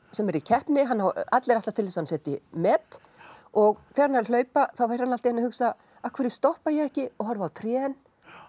sem er í keppni allir ætlast til þess að hann setji met og þegar hann er að hlaupa fer hann að hugsa af hverju stoppa ég ekki og horfi á trén